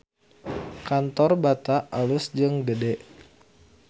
Kantor Bata alus jeung gede